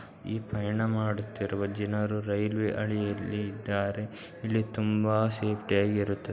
ಈ ಪ್ರಯಾಣ ಮಾಡುತ್ತಿರುವ ಜನರು ರೈಲ್ವೆ ಹಳಿಯಲ್ಲಿ ಇದ್ದಾರೆ ಇಲ್ ತುಂಬಾ ಸೇಫ್ಟಿ ಆಗಿರುತ್ತ--